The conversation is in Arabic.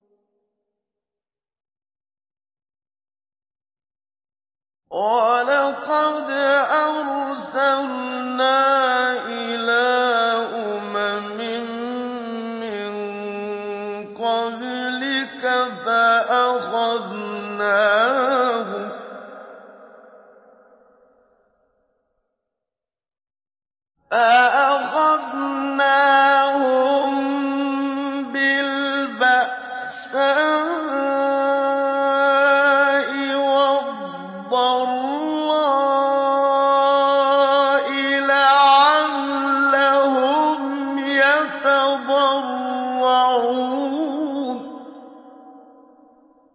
وَلَقَدْ أَرْسَلْنَا إِلَىٰ أُمَمٍ مِّن قَبْلِكَ فَأَخَذْنَاهُم بِالْبَأْسَاءِ وَالضَّرَّاءِ لَعَلَّهُمْ يَتَضَرَّعُونَ